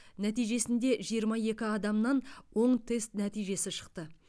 нәтижесінде жиырма екі адамнан оң тест нәтижесі шықты